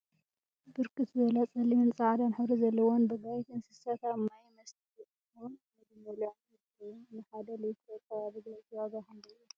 ብርክት ዝበላ ፀሊምን ፃዕዳን ሕብሪ ዘለዎን ብጋይት እንስሳት አብ ማይ መስተይኦምን ምግቢ መብልዒኦምን ይርከቡ፡፡ ንሓደ ሊትሮ ፃባ ብጋይት ዋጋ ክንደይ እዩ?